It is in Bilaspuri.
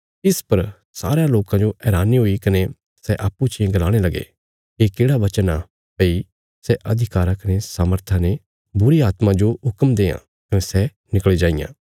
इस पर सारयां लोकां जो हैरानी हुई कने सै अप्पूँ चियें गलाणे लगे ये केढ़ा वचन आ भई सै अधिकारा कने सामर्थय ने बुरीआत्मा जो हुक्म देआं कने सै निकल़ी जाईयां